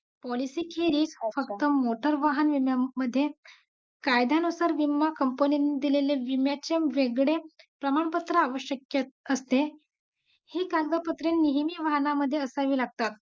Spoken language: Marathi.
policy खेरीज फक्त मोटर वाहनामध्ये कायद्यानुसार विमा company मध्ये दिलेले विम्याचे वेगळे प्रमाणपत्र आवश्यक असते ही कागदपत्रे नेहमी वाहना मध्ये असावी लागतात